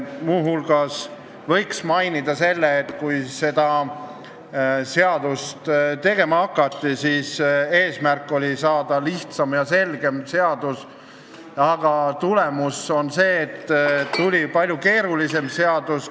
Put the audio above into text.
Muu hulgas võiks mainida, et kui seda seadust tegema hakati, siis eesmärk oli saada lihtsam ja selgem seadus, aga tulemus on see, et tuli palju keerulisem seadus.